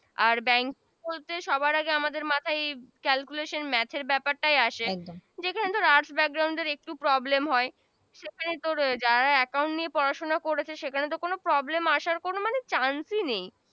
আর Bank বলতে সবার আগে আমাদের মাথায় calculation ব্যাপারটাই আসে একদম যেখানে Arts backgraound একটু Problem হয় সেখানে তোর যারা account নিয়ে পরা শোনা করেছে সেখানে তো কোন problem আশার কোন মানে chance ই নেই